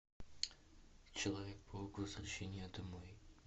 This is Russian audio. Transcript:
человек паук возвращение домой